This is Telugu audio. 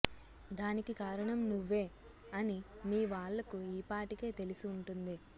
దానికి కారణం నువ్వే అని మీ వాళ్లకు యీ పాటికే తెలిసి వుంటుంది